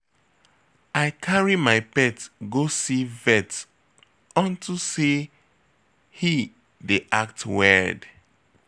I carry my pet go see vet unto say he dey act weird